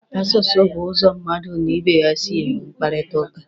Asụsụ bụ ụzọ mmadụ n'ibe ya si enwe mkparịtaụka.